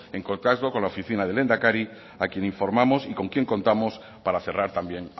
en contacto con la oficina del lehendakari a quien informamos y con quien contamos para cerrar también